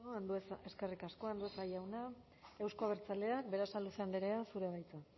eskerrik asko andueza jauna euzko abertzaleak berasaluze andrea zurea da hitza